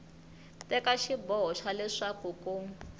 teka xiboho xa leswaku ku